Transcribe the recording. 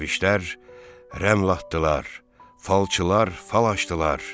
Dərvişlər rəml atdılar, falçılar fal açdılar.